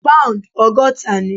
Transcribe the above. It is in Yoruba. Pound ogọ́ta ni.